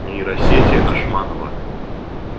нейросети ашманова